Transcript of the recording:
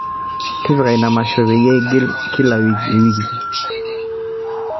tipika ina masho peyie eigili kila ewiki